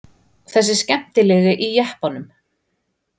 Þessi skemmtilegi í jeppanum?